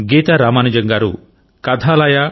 గీత రామానుజంగారు Kathalaya